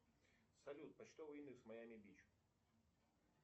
салют почтовый индекс майами бич